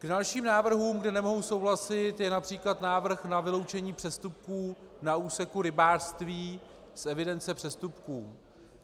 K dalším návrhům, kde nemohu souhlasit, patří například návrh na vyloučení přestupků na úseku rybářství z evidence přestupků.